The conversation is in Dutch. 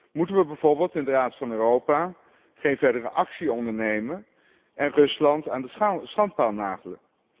Moeten we bijvoorbeeld in de Raad van Europa geen verdere actie ondernemen en Rusland aan de schandpaal nagelen?